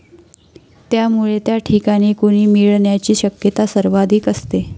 त्यामुळे त्या ठिकाणी कुणी मिळण्याची शक्यता सर्वाधिक असते.